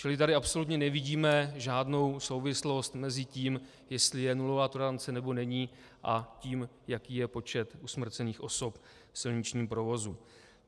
Čili tady absolutně nevidíme žádnou souvislost mezi tím, jestli je nulová tolerance, nebo není, a tím, jaký je počet usmrcených osob v silničním provozu.